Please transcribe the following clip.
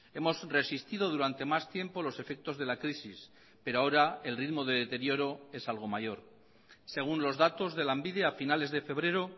hemos resistido durante más tiempo los efectos de la crisis pero ahora el ritmo de deterioro es algo mayor según los datos de lanbide a finales de febrero